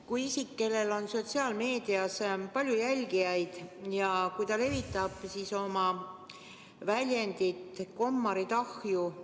Kui isik, kellel on sotsiaalmeedias palju jälgijaid, levitab oma väljendit "Kommarid ahju!